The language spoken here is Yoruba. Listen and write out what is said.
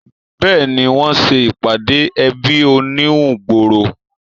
Béèni, wọ́n se ìpàdé ẹbí oníhun gbòòrò